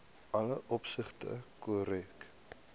alle opsigte korrek